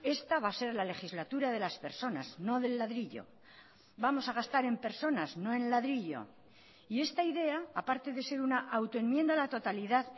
esta va a ser la legislatura de las personas no del ladrillo vamos a gastar en personas no en ladrillo y esta idea a parte de ser una autoenmienda a la totalidad